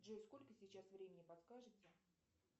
джой сколько сейчас времени подскажите